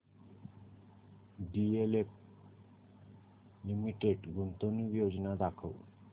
DLF limited गुंतवणूक योजना दाखव